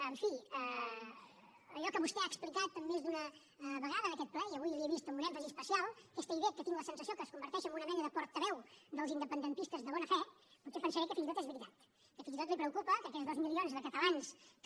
en fi allò que vostè ha explicat més d’una vegada en aquest ple i avui li ho he vist amb un èmfasi especial aquesta idea que tinc la sensació que es converteix en una mena de portaveu dels independentistes de bona fe potser pensaré que fins i tot és veritat que fins i tot li preocupa que aquests dos milions de catalans que